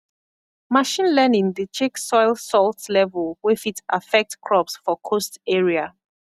machine learning dey check soil salt level wey fit affect crops for coast area